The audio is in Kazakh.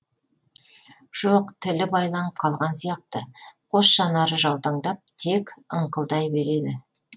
жоқ тілі байланып қалған сияқты қос жанары жаутаңдап тек ыңқылдай береді